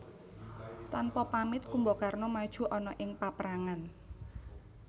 Tanpa pamit Kumbakarna maju ana ing paprangan